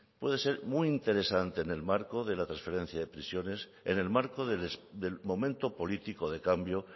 puede ser muy interesante en el marco de la trasferencia de prisiones en el marco del momento político de cambio